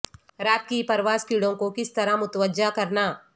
رات کی پرواز کیڑوں کو کس طرح متوجہ کرنا